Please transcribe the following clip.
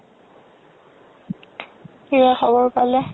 কিবা খবৰ পালে